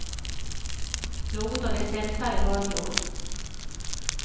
Något av det sämsta jag hört i år.